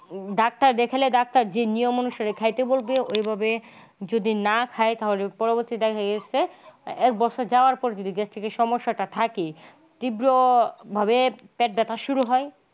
doctor দেখালে doctor যে নিয়ম অনুসারে খাইতে বলত ওইভাবে যদি না খায় তাহলে পরবর্তী দেখা গেছে এক বছর যাওয়ার পর যদি gastric সমস্যাটা থাকে তীব্রভাবে পেট ব্যাথা শুরু হয়।